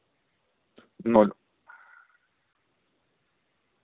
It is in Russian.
ноль